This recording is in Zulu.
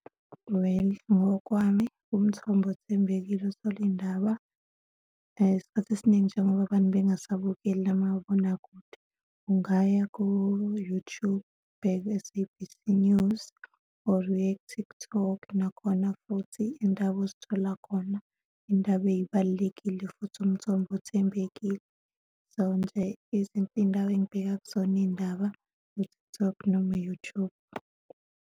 Well, ngokwami umthombo othembekile uthole iy'ndaba isikhathi esiningi, njengoba abantu bengasabukeli amabonakude, ungaya ku-YouTube, ubheke u-S_A_B_C News or uye ku-TikTok, nakhona futhi i'yndaba ozithola khona, iy'ndaba ey'balulekile futhi umthombo othembekile. So, nje iy'ndawo engibheka kuzona iy'ndaba u-TikTok noma u-YouTube.